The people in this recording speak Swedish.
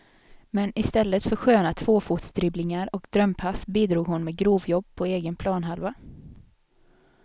Men istället för sköna tvåfotsdribblingar och drömpass bidrog hon med grovjobb på egen planhalva.